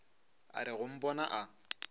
a re go mpona a